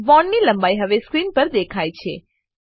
bond લંબાઈ હવે screen પર દેખાય છે